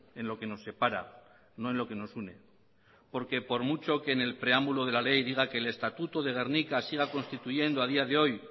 en lo que nos separa no en lo que nos une porque por mucho que en el preámbulo de la ley diga que el estatuto de gernika siga constituyendo a día de hoy